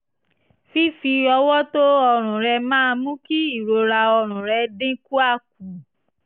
fífi ọwọ́ to ọrùn rẹ máa mú kí ìrora ọrùn rẹ̀ dínkùa kù